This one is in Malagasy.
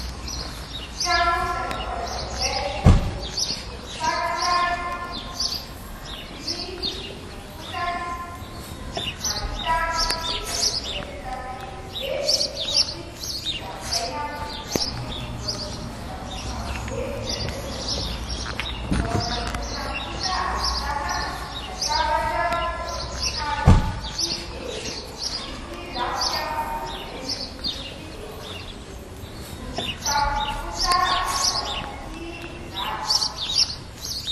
Trano fisakafoanana iray lehibe, fitaratra ny rindrina, vy miloko mainty kosa ny sisiny, mahita ny any ivelany izay ahitana elo be miloko fotsy sy zaridaina miloko maitso. Voahodidina tamboho avo be vita avy amin'ny simenitra . Ny ao anatin'ny trano kosa ahitana latabatra vita avy amin'ny hazo sy seza, misy lafika malemilemy miloko fotsy eo ambonin'ny seza ; ny tafony kosa ahitana tsihy mirary.